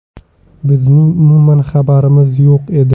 Bizning umuman xabarimiz yo‘q edi”.